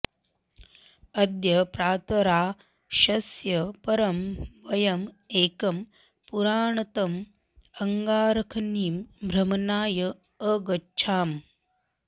अद्य प्रातराशस्य परं वयम् एकं पुरातनम् अङ्गारखनिम् भ्रमणाय अगच्छाम